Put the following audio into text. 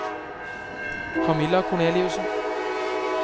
Camilla Korneliussen